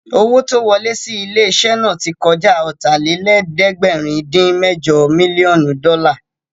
Owó tó ń wọlẹ́ sí ilé-iṣẹ́ náà tí kọjá Ọ̀tàlélẹ̀ẹ́dẹ́gbẹ̀rin-dín-mẹ́jọ mílíọ̀nù dọ́là